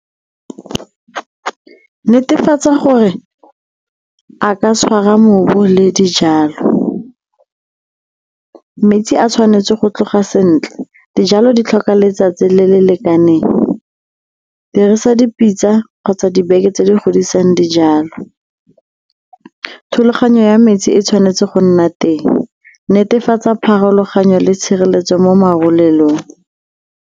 Netefatsa gore a ka tshwara mobu le dijalo. Metsi a tshwanetse go tloga sentle, dijalo di tlhoka letsatsi le le lekaneng, dirisa dipitsa kgotsa dibeke tse di godisang dijalo. Thulaganyo ya metsi e tshwanetse go nna teng, netefatsa pharologanyo le tshireletso mo marulelong.